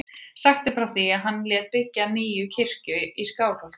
Sagt er frá því að hann lét byggja nýja kirkju í Skálholti.